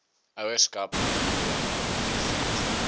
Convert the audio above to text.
ouerskap probleme ondervind